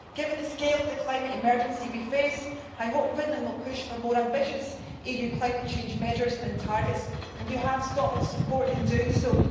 Given the scale of the climate emergency we face, I hope Finland will push for more ambitious EU climate change measures and targets, and you have Scotland's support in doing so.